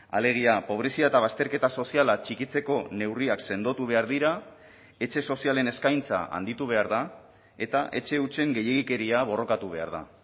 alegia pobrezia eta bazterketa soziala txikitzeko neurriak sendotu behar dira etxe sozialen eskaintza handitu behar da eta etxe hutsen gehiegikeria borrokatu behar da